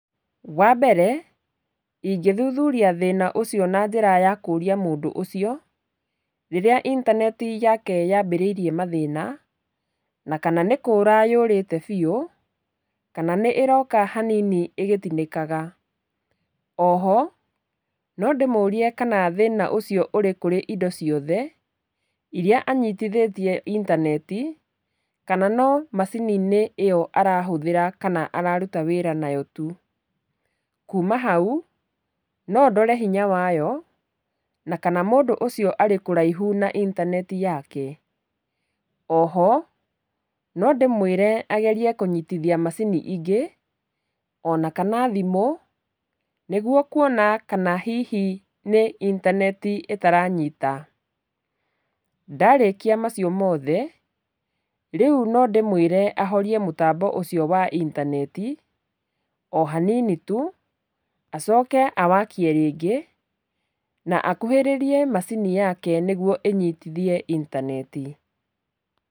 Wambere, ingĩthuthuria thĩna ũcio na njĩra yakũria mũndũ ũcio, rĩrĩa intaneti yake yambĩrĩirie mathĩna, na kana nĩkũra yũrĩte biũ, kana nĩ ĩroka hanini ĩgĩtinĩkaga. Oho, nondĩmũrie kana thĩna ũcio ũrĩ kũrĩ indo ciothe iria anyitithĩtie intaneti, kana no macini-inĩ ĩyo arahũthĩra kana araruta wĩra nayo tu. kuma hau, no ndore hinya wayo, na kana mũndũ ũcio arĩkũraihu na ithaneti yake. Oho, nondĩmwĩre agerie kũnyitithia macini ingĩ, onakana thimũ, nĩguo kuona kana hihi nĩ intaneti ĩtaranyita. Ndarĩkia macio mothe, rĩu nondĩmwĩre ahorie mũtambo ũcio wa intaneti, ohanini tu, acoke awakie rĩngĩ, na akuhĩrĩrie macini yake nĩguo ĩnyitithie intaneti.